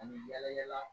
An bɛ yala yala